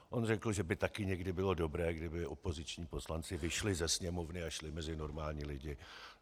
On řekl, že by taky někdy bylo dobré, kdyby opoziční poslanci vyšli ze Sněmovny a šli mezi normální lidi.